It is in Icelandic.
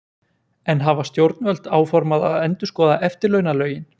En hafa stjórnvöld áformað að endurskoða eftirlaunalögin?